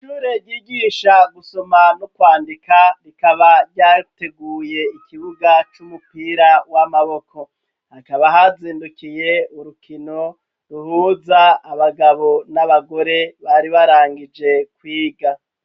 Irore gigisha gusoma no kwandika rikaba ryateguye ikibuga c'umupira w'amaboko hakaba hazindukiye urukino ruhuza abagabo n'abagore bari barangije kwiga.